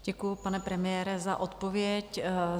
Děkuji, pane premiére, za odpověď.